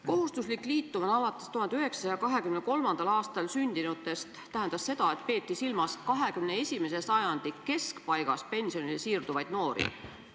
Kohustuslik liitumine alates 1983. aastal sündinutest tähendas seda, et peeti silmas 21. sajandi keskpaigas pensionile siirduvaid noori.